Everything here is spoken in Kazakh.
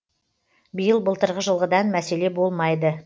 биыл былтырғы жылғыдай мәселе болмайды